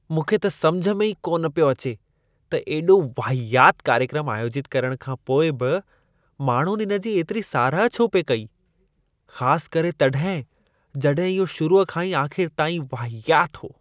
मूंखे त समुझ में ई कान पियो अचे त एॾो वाहियात कार्यक्रम आयोजित करण खां पोइ बि माण्हुनि इन जी एतिरी साराह छो पिए कई। ख़ासु करे तॾहिं, जॾहिं इहो शुरुअ खां आख़िर ताईं वाहियात हो।